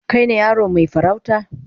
Kai ne yaron mai farauta?